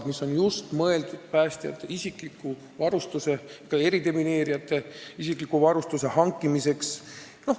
See raha on just mõeldud päästjate ja eridemineerijate isikliku varustuse hankimiseks.